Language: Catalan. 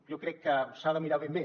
jo crec que s’ha de mirar ben bé